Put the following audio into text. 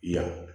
Yan